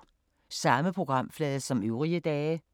Samme programflade som øvrige dage